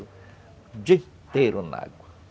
O dia inteiro na água.